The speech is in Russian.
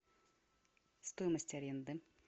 стоимость аренды